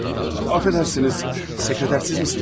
Üzr istəyirəm, katib sizsiniz?